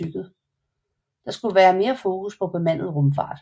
Der skulle være mere fokus på bemandet rumfart